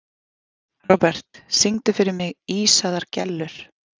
Robert, syngdu fyrir mig „Ísaðar Gellur“.